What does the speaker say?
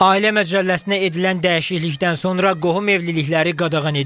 Ailə Məcəlləsinə edilən dəyişiklikdən sonra qohum evlilikləri qadağan edilir.